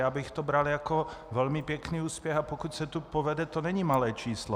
Já bych to bral jako velmi pěkný úspěch, a pokud se to povede, to není malé číslo.